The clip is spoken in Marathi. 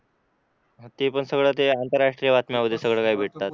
ते पण सगळं आंतरराष्ट्रीय बातम्यां होत्या सगळं काही भेटतात.